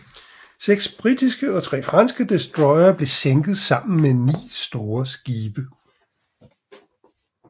Seks britiske og tre franske destroyere blev sænket sammen med ni store skibe